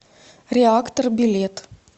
реактор билет